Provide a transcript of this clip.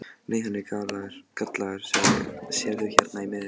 Nei, hann er gallaður, sérðu hérna í miðjunni.